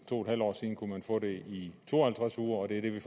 to en halv år siden kunne man få det i to og halvtreds uger og det er det vi